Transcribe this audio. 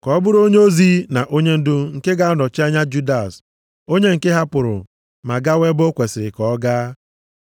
Ka ọ bụrụ onyeozi na onyendu nke ga-anọchi anya Judas onye nke hapụrụ ma gawa ebe o kwesiri ka ọ gaa.”